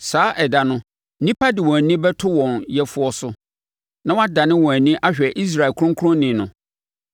Saa ɛda no, nnipa de wɔn ani bɛto wɔn Yɛfoɔ so na wɔadane wɔn ani ahwɛ Israel Ɔkronkronni no.